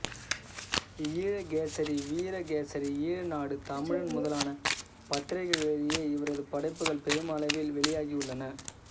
ஈழகேசரி வீரகேசரி ஈழநாடு தமிழன் முதலான பத்திரிகைகளிலேயே இவரது படைப்புகள் பெருமளவில் வெளியாகியுள்ளன